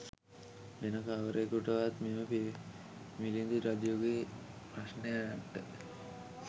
වෙන කවරෙකුටවත් මෙම මිළිඳු රජුගේ ප්‍රශ්නයන්ට